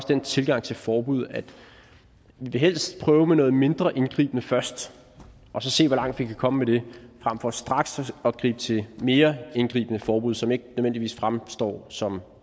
den tilgang til forbud at vi helst vil prøve med noget mindre indgribende først og så se hvor langt vi kan komme med det frem for straks at gribe til et mere indgribende forbud som ikke nødvendigvis fremstår som